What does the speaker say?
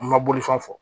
An ma boli fɛn fɔ fɔ